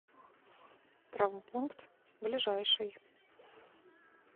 травмпункт ближайший